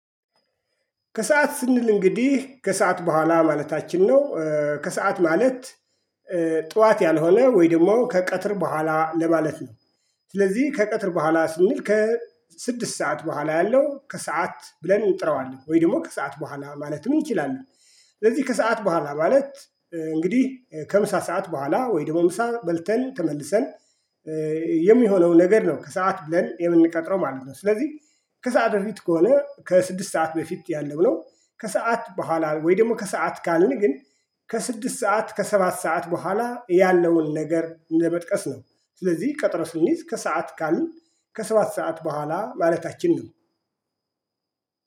ከሰአት ስንል እንግዲህ ከሰአት በኋላ ማለታችን ነው። ከሰአት ማለት ጠዋት ያልሆነ ወይ ደግሞ ከቀትር በኋላ ለማለት ነው። ስለዚህ ከቀትር በኋላ ስንል ከስድስት ሰዓት በኋላ ያለው ከሰአት ብለን እንጥረዋለን ወይ ደግሞ ከሰአት በኋላ ማለትም ይችላሉ። ስለዚህ ከሰአት በኋላ ማለት እንግዲህ ከምሳ ሰዓት በኋላ ወይድሞ ምሳ በልተን ተመልሰን የሚሆነው ነገር ነው ከሰአት ብለን የምንቀጥረው ማለት ነው። ስለዚህ ከሰአት በፊት ከሆነ ከስድስት ሰዓት በፊት ያለው ነው ከሰአት በኋላ ወይ ደግሞ ከሰአት ካልን ግን ከስድስት ሰዓት ከሰባት ሰዓት በኋላ ያለውን ነገር እንደመጥቀስ ነው። ስለዚህ ቀጥሮ ስንይዝ ከሰአት ካልን ከሰባት ሰዓት በኋላ ማለታችን ነው።